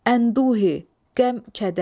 Ənduhi, qəm-kədər.